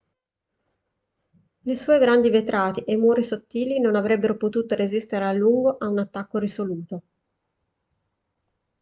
le sue grandi vetrate e i muri sottili non avrebbero potuto resistere a lungo a un attacco risoluto